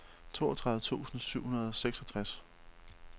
toogtredive tusind syv hundrede og seksogtres